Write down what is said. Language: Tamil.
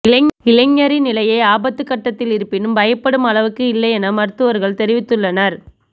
இளைஞரின் நிலை ஆபத்துகட்டத்தில் இருப்பினும் பயப்படும் அளவுக்கு இல்லை என மருத்துவர்கள் தெரிவித்துள்ளனர்